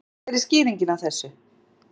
Gísli: Hver er skýringin á þessu?